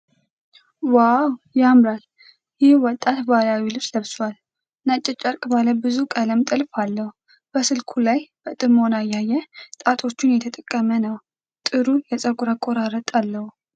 ዋው! ያምራል! ይህ ወጣት ባህላዊ ልብስ ለብሷል፤ ነጭ ጨርቅ ባለ ብዙ ቀለም ጥልፍ አለው። በስልኩ ላይ በጥሞና እያየ ጣቶቹን እየተጠቀመ ነው። ጥሩ የፀጉር አቆራረጥ አለው።